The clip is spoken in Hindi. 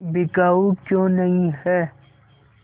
बिकाऊ क्यों नहीं है